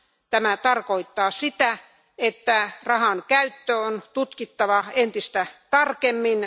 Tämä tarkoittaa sitä, että rahankäyttö on tutkittava entistä tarkemmin.